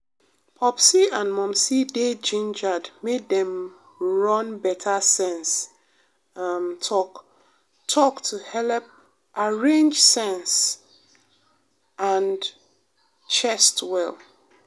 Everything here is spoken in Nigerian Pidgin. popsi and momsi dey gingered make dem run better sense um talk-talk to helep arrange sense um and chest well.